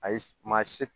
Ayi maa si